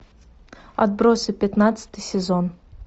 отбросы пятнадцатый сезон